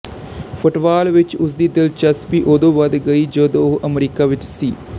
football ਵਿਚ ਉਸਦੀ ਦਿਲਚਸਪੀ ਉਦੋਂ ਵਧ ਗਈ ਜਦੋਂ ਉਹ ਅਮਰੀਕਾ ਵਿਚ ਸੀ